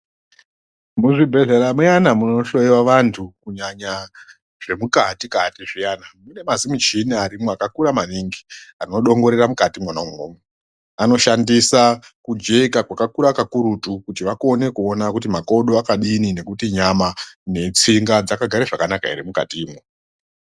Muzvibhedhlera muyana munohloyiwa vantu kunyanya zvemukati kati zviyana mune mazi mushina arimo akakura maningi anodongorera mukati mwona imomo anoshandisa kujeka kwakakura kakurutu kuti vakone kuona kuti makodo akadini nekuti nyama netsinga zvakagare zvakanaka here mukati imwo.